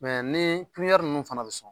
nii kiɲɛri ninnu fana bɛ sɔn